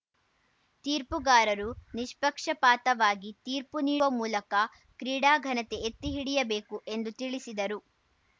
ತೀರ್ಪುಗಾರರು ನಿಷ್ಪಕ್ಷಪಾತವಾಗಿ ತೀರ್ಪು ನೀಡುವ ಮೂಲಕ ಕ್ರೀಡಾ ಘನತೆ ಎತ್ತಿ ಹಿಡಿಯಬೇಕು ಎಂದು ತಿಳಿಸಿದರು